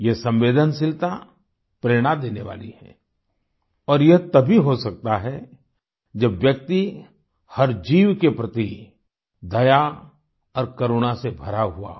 ये संवेदनशीलता प्रेरणा देने वाली है और ये तभी हो सकता है जब व्यक्ति हर जीव के प्रति दया और करुणा से भरा हुआ हो